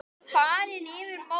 Fleiri tilboð hafa borist.